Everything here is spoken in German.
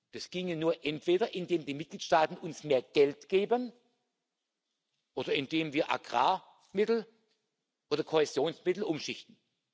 Das ginge nur, indem entweder die Mitgliedsstaaten uns mehr Geld geben oder indem wir Agrarmittel oder Kohäsionsmittel umschichten.